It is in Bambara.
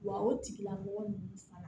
Wa o tigilamɔgɔ ninnu fana